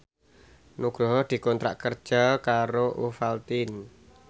Nugroho dikontrak kerja karo Ovaltine